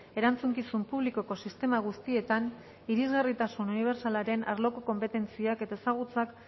erantzukizun publikoko sistema guztietan irisgarritasun unibertsalaren arloko konpetentziak eta ezagutzak